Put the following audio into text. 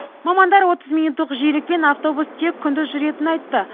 мамандар отыз минуттық жиілікпен автобус тек күндіз жүретінін айтты